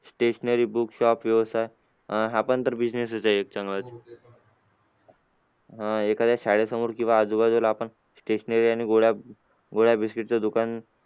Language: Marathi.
stationary book shop व्यवसाय अह हा पण तर business आहे एक चांगला अं एखाद्या शाळेसमोर किंवा आज बाजूला आपण stationary आणि गोळ्या गोळ्या biscuit चा दुकान